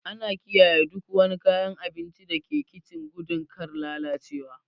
Ana kiyaye duk wani kayan abinci da ke kicin gudun kar lalacewa.